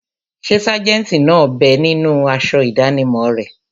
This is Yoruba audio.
Ṣé sájẹ̀ntì náà bẹ ninú aṣọ ìdánimọ̀ rẹ̀?